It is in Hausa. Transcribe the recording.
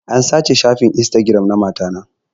An sace shafin instagiram na mata ta